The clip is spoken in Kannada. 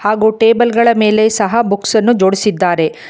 ಹಾಗು ಟೇಬಲ್ಗಳ ಮೇಲೆ ಸಹಾ ಬುಕ್ಸನ್ನು ಜೋಡಿಸಿದ್ದಾರೆ.